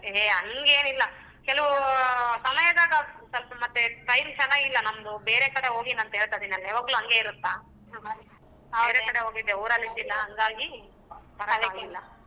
ಏ ಹಂಗೆನಿಲ್ಲ ಕೆಲವು ಸಮಯದಾಗ ಸ್ವಲ್ಪ ಮತ್ತೆ time ಚನಗಿಲ್ಲ ನಮ್ದು ಬೇರೆ ಕಡೆ ಹೋಗಿನಿ ಅಂತ ಹೇಳ್ತಿದೀನಲ್ಲ ಯಾವಾಗ್ಲೂ ಹಂಗೆ ಇರತ್ತಾ ಬೇರೆ ಕಡೆ ಹೋಗಿದ್ದೆ ಊರಲ್ಲಿ ಇದ್ದಿಲ್ಲಾ ಹಂಗಾಗಿ ಬರಕ್ ಆಗಲಿಲ್ಲ.